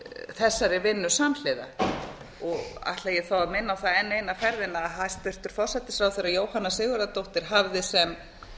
þessari vinnu samhliða og ætla ég þá að minna á það enn eina ferðina að hæstvirtur forsætisráðherra jóhanna sigurðardóttir hafði sem